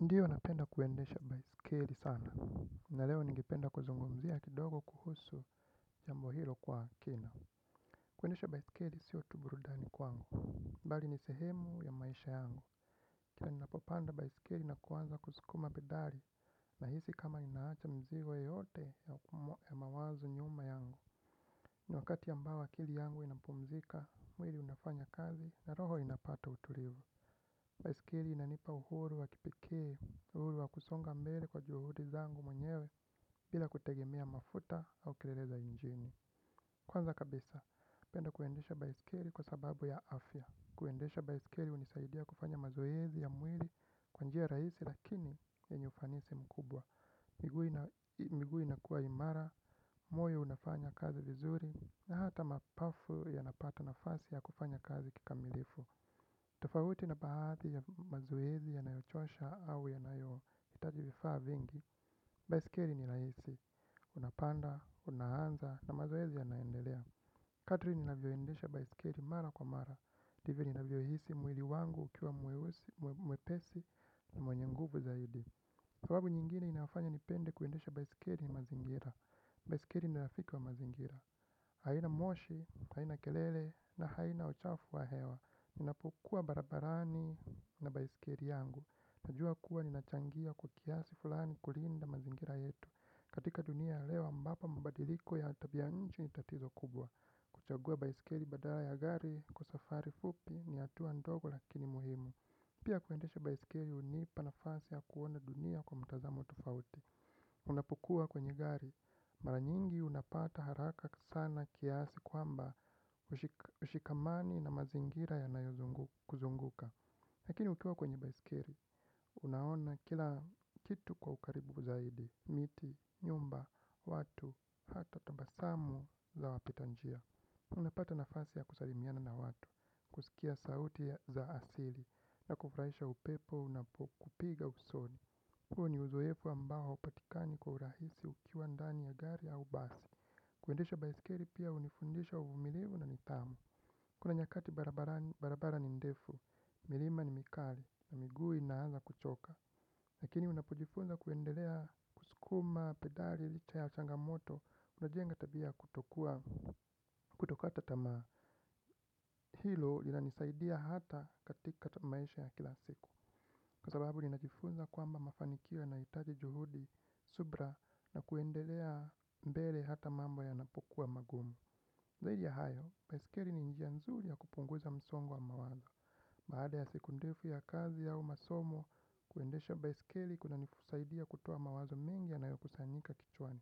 Ndiyo napenda kuendesha baiskeli sana. Na leo ningependa kuzungumzia kidogo kuhusu jambo hilo kwa kina. Kuendesha baiskeli sio tu burudani kwangu, bali ni sehemu ya maisha yangu. Kila ninapopanda baiskeli na kuanza kusukuma pedali, nahisi kama ninaacha mizigo yote ya mawazo nyuma yangu. Ni wakati ambao akili yangu inapumzika, mwili unafanya kazi, na roho inapata utulivu. Baiskeli inanipa uhuru wa kipekee, uhuru wa kusonga mbele kwa juhudi zangu mwenyewe bila kutegemea mafuta au kelele za injini. Kwanza kabisa, napenda kuendesha baiskeli kwa sababu ya afya. Kuendesha baiskeli hunisaidia kufanya mazoezi ya mwili kwa njia rahisi lakini yenye ufanisi mkubwa. Miguu inakuwa imara, moyo unafanya kazi vizuri, na hata mapafu yanapata nafasi ya kufanya kazi kikamilifu. Tofauti na baadhi ya mazoezi yanayochosha au yanayohitaji vifaa vingi baiskeli ni rahisi. Unapanda, unaanza na mazoezi yanaendelea kadri ninavyoendesha baiskeli mara kwa mara ndivyo ninavyohisi mwili wangu ukiwa mwepesi na mwenye nguvu zaidi. Sababu nyingine inafanya nipende kuendesha baiskeli ni mazingira. Baiskeli ni rafiki wa mazingira. Haina moshi, haina kelele na haina uchafu wa hewa. Ninapokuwa barabarani, na baiskeli yangu, najua kuwa ninachangia kwa kiasi fulani kulinda mazingira yetu. Katika dunia ya leo ambapo mabadiliko ya tabia ya nje ni tatizo kubwa. Kuchagua baiskeli badala ya gari kwa safari fupi ni hatua ndogo lakini muhimu. Pia kuendesha baiskeli hunipa nafasi ya kuona dunia kwa mtazamo tofauti. Unapokuwa kwenye gari, mara nyingi unapata haraka sana kiasi kwamba hushikamani na mazingira yanayokuzunguka. Lakini ukiwa kwenye baiskeli, unaona kila kitu kwa ukaribu zaidi, miti, nyumba, watu, hata tabasamu za wapitanjia. Unapata nafasi ya kusalimiana na watu, kusikia sauti za asili na kufurahisha upepo unapokupiga usoni. Huo ni uzoefu ambao haupatikani kwa urahisi ukiwa ndani ya gari au basi. Kuendesha baiskeli pia hunifundisha umilivu na nidhamu. Kuna nyakati barabara ni ndefu, milima ni mikali na miguu inaanza kuchoka. Lakini unapojifunza kuendelea kusukuma pedali, licha ya changamoto, unajenga tabia kutokata tamaa. Hilo linanisaidia hata katika maisha ya kila siku. Kwa sababu ninajifunza kwamba mafanikio yanahitaji juhudi, subira na kuendelea mbele hata mambo yanapokuwa magumu. Zaidi ya hayo, baiskeli ni njia nzuri ya kupunguza msongo wa mawazo. Baada ya siku ndefu ya kazi au masomo, kuendesha baiskeli kunanisaidia kutoa mawazo mengi yanayokusanyika kichwani.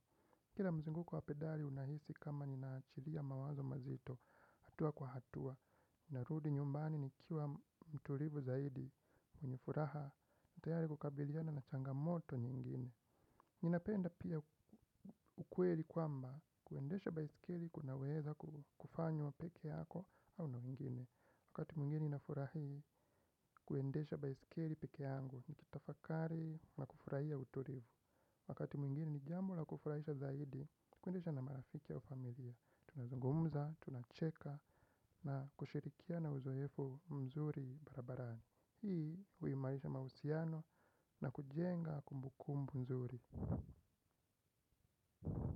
Kila mzunguko wa pedali unahisi kama ninaachilia mawazo mazito hatua kwa hatua. Narudi nyumbani nikiwa mtulivu zaidi mwenye furaha. Tayari kukabiliana na changamoto nyingine. Ninapenda pia ukweli kwamba kuendesha baiskeli kunaweza kufanywa pekee yako au na wengine. Wakati mwingine ninafurahi kuendesha baiskeli pekee yangu nikitafakari na kufurahia utulivu. Wakati mwingine ni jambo la kufurahisha zaidi kuendesha na marafiki au familia. Tunazungumza, tunacheka na kushirikiana uzoefu mzuri barabarani. Hii huimarisha mahusiano na kujenga kumbukumbu nzuri.